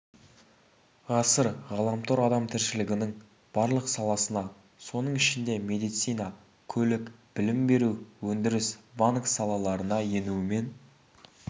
ғасыр ғаламтор адам тіршілігінің барлық саласына соның ішінде медицина көлік білім беру өндіріс банк салаларына енуімен